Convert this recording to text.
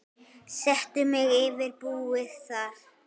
Settu mig yfir búið þar.